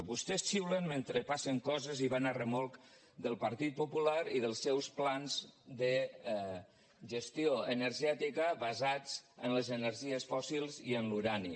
vostès xiulen mentre passen coses i van a remolc del partit popular i dels seus plans de gestió energètica basats en les energies fòssils i en l’urani